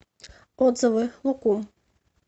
отзывы лукум